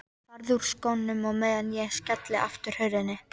Farðu úr skónum á meðan ég skelli aftur hurðinni.